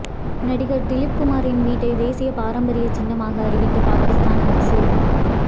நடிகர் திலீப் குமாரின் வீட்டை தேசிய பாரம்பரிய சின்னமாக அறிவித்த பாகிஸ்தான் அரசு